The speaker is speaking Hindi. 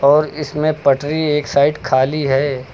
और इसमें पटरी एक साइड खाली है।